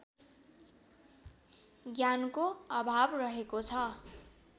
ज्ञानको अभाव रहेको छ